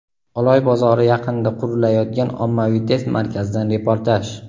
Oloy bozori yaqinida qurilayotgan ommaviy test markazidan reportaj.